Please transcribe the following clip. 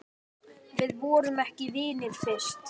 Við vorum ekki vinir fyrst.